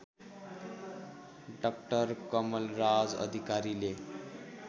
doctor Kamalraj अधिकारीले